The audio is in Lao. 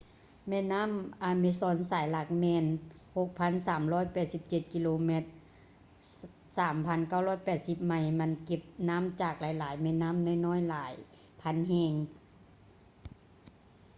ແມ່ນ້ຳ amazon ສາຍຫຼັກແມ່ນ 6,387 km 3,980 ໄມລ. ມັນເກັບນ້ຳຈາກຫລາຍໆແມ່ນ້ຳນ້ອຍໆຫລາຍພັນແຫ່ງ